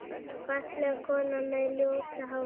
Fallega konan með ljósa hárið.